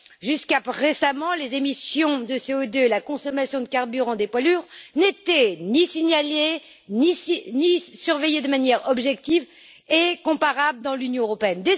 Jusqu'à récemment, les émissions de CO2 et la consommation de carburant des poids lourds n'étaient ni signalées, ni surveillées de manière objective et comparable dans l'Union européenne.